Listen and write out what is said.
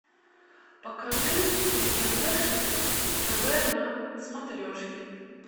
покажи мне фэшн тв на смотрешке